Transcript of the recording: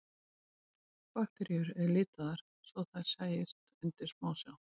Bakteríur voru litaðar svo þær sæjust undir smásjá.